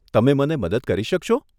તમે મને મદદ કરી શકશો?